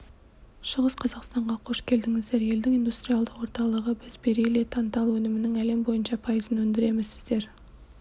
шығыс қазақстанға қош келдіңіздер елдің индустриалды орталығы біз бериллий тантал өнімінің әлем бойынша пайызын өндіреміз сіздер